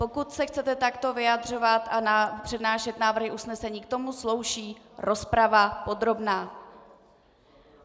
Pokud se chcete takto vyjadřovat a přednášet návrhy usnesení, k tomu slouží rozprava podrobná.